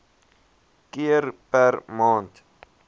keer per maand